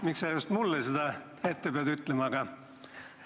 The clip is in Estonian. Miks sa just minu küsimuse ees seda pidid ütlema?